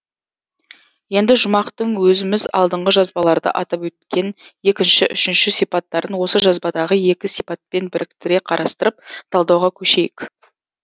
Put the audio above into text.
енді жұмақтың өзіміз алдыңғы жазбаларда атап өткен екінші үшінші сипаттарын осы жазбадағы екі сипатпен біріктіре қарастырып талдауға көшейік